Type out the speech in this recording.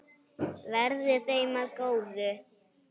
Verði þeim að góðu.